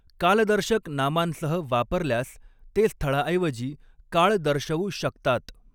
कालदर्शक नामांसह वापरल्यास ते स्थळाऐवजी काळ दर्शवू शकतात.